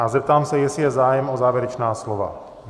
A zeptám se, jestli je zájem o závěrečná slova.